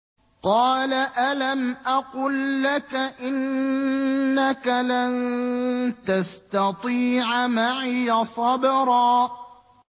۞ قَالَ أَلَمْ أَقُل لَّكَ إِنَّكَ لَن تَسْتَطِيعَ مَعِيَ صَبْرًا